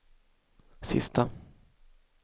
sista